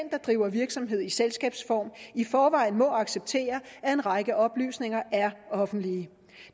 driver virksomhed i selskabsform i forvejen må acceptere at en række oplysninger er offentlige